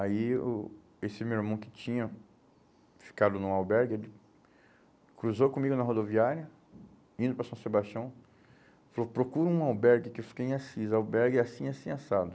Aí o esse meu irmão que tinha ficado num albergue, ele cruzou comigo na rodoviária, indo para São Sebastião, falou, procura um albergue, que eu fiquei em Assis, albergue assim e assim assado.